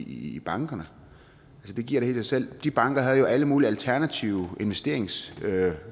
i bankerne det giver da helt sig selv de banker havde jo alle mulige alternative investeringsmuligheder